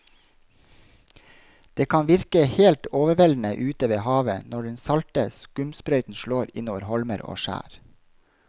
Det kan virke helt overveldende ute ved havet når den salte skumsprøyten slår innover holmer og skjær.